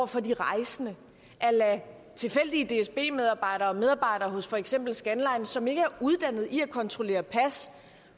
for de rejsende at lade tilfældige dsb medarbejdere og medarbejdere hos for eksempel scandlines som ikke er uddannet i at kontrollere pas